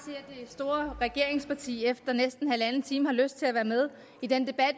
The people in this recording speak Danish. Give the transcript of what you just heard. det store regeringsparti efter næsten en en halv time har lyst til at være med i den debat